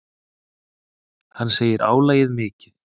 Hann segir álagið mikið.